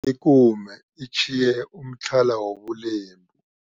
Ikume itjhiye umtlhala wobulembu.